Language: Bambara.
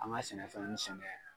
An ka sɛnɛfɛnnu sɛnɛ